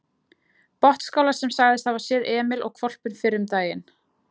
Botnsskála sem sagðist hafa séð Emil og hvolpinn fyrr um daginn.